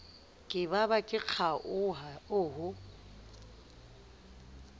ke ba ba le kgaoho